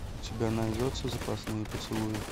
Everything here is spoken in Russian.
у тебя найдется запасные поцелуи